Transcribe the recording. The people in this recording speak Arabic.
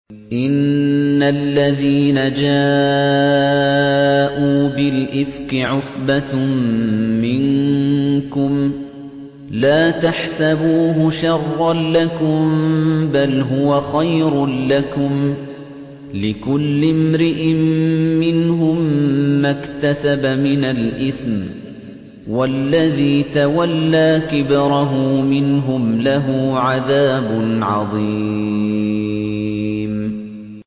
إِنَّ الَّذِينَ جَاءُوا بِالْإِفْكِ عُصْبَةٌ مِّنكُمْ ۚ لَا تَحْسَبُوهُ شَرًّا لَّكُم ۖ بَلْ هُوَ خَيْرٌ لَّكُمْ ۚ لِكُلِّ امْرِئٍ مِّنْهُم مَّا اكْتَسَبَ مِنَ الْإِثْمِ ۚ وَالَّذِي تَوَلَّىٰ كِبْرَهُ مِنْهُمْ لَهُ عَذَابٌ عَظِيمٌ